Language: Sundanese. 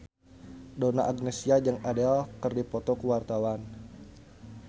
Donna Agnesia jeung Adele keur dipoto ku wartawan